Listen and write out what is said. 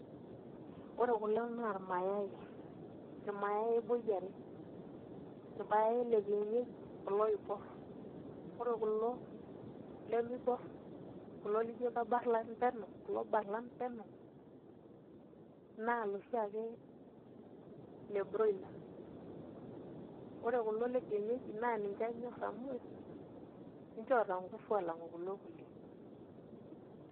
Ore kulo naa irmayai, irmayai boi are irmayai le kienyeji kulo oiborr ore kulo lemiborr kulo lijo kebarlan penyo kulo barlan peno naa iloshiake le broiler, ore kuulo kienyeji naa ninche anyorr amu ninche oota nguvu aalang'u kulo kulie.